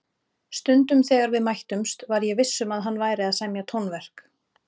Stundum þegar við mættumst var ég viss um að hann væri að semja tónverk.